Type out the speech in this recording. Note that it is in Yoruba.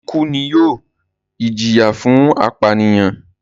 ikú ni yóò ìjìyà fún ìpànìyàn.